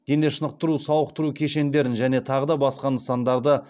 денешынықтыру сауықтыру кешендерін және тағы да басқа нысандарды